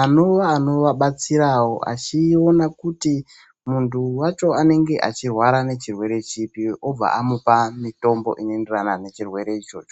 anova anovabatsirawo achiona kuti munhu wacho anenge achirwara nechirwere chipi obva amupa mitombo inoenderana nechirwere ichocho